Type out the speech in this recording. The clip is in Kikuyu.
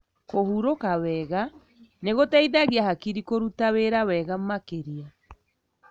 Kũhurũka wega nĩgũteithagia hakiri kũruta wĩra wega makĩria.